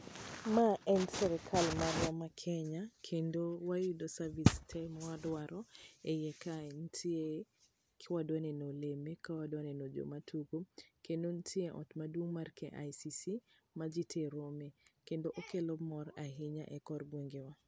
Ma en sirikal marwa ma Kenya kendo wayudo service tee mawadwaro,e iye kae. Nitie, ki wadwa neno oleme ka wadawa neno joma tugo, kendo nitie ot maduong' mar KICC, ma ji tie rome ,kendo okelo mor ahinya e kor gwengewa.